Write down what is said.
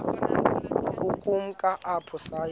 ukumka apho saya